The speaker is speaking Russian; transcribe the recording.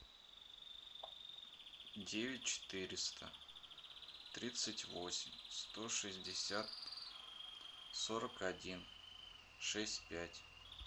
девять четыреста тридцать восемь сто шестьдесят сорок один шесть пять